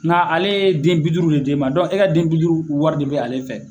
Nka ale ye den bi duuru de di i ma, dɔnki e ka den bi duuru wari de bɛ ale fɛ.